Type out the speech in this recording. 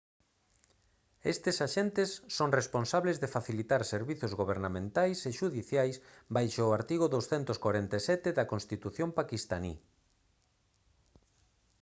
estes axentes son responsables de facilitar servizos gobernamentais e xudiciais baixo o artigo 247 da constitución paquistaní